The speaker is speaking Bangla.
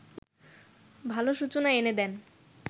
ভালো সূচনা এনে দেন